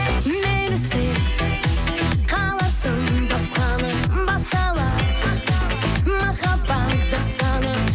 мейлі сен қалапсың басқаны басқалай махаббат дастаны